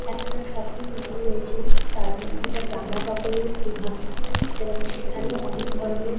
একটা shopping mall রয়েছে। তার মধ্যে একটা জামাকাপড়ের বিভাগ এবং সেখানে অনেক ধরণের--